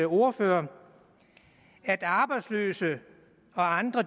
ordfører at arbejdsløse og andre